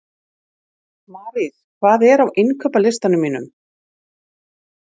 Marís, hvað er á innkaupalistanum mínum?